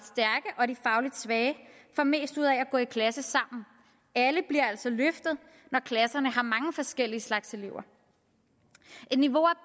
svage får mest ud af at gå i klasse sammen alle bliver altså løftet når klasserne har mange forskellige slags elever